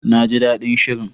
Na ji daɗin shirin.